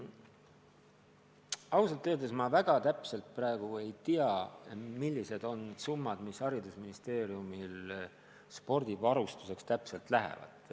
Ausalt öeldes ma väga täpselt praegu ei tea, kui suured summad haridusministeeriumil spordivarustuse hankimiseks täpselt lähevad.